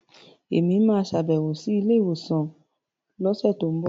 Èmi máa sàbẹ̀wò sí ilé ìwòsàn lọ́sẹ̀tínbọ̀